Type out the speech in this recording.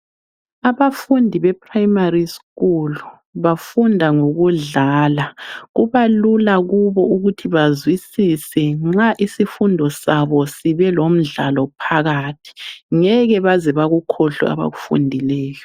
Abafundi bePrimary School bafunda ngokudlala. Kuba lula kubo ukuthi bazwisise nxa isifundo sabo sibelomdlalo phakathi. Ngeke baze bakukhohlwe abakufundileyo.